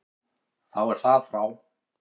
Þá er það frá.